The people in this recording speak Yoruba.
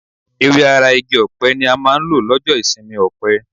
Ewé ara igi ọ̀pẹ ni a máa ń lò lọ́jọ́ ìsinmi ọ̀pẹ.